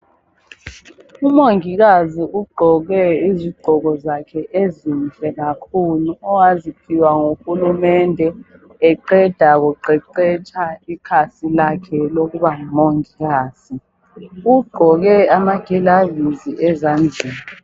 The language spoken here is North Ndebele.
Umongikazi ugqoke izigqoko zakhe ezinhle kakhulu owaziphiwa nguhulumende eqeda kuqeqetsha ikhasi lakhe lokuba ngumongikazi. Ugqoke amakilavisi ezandleni .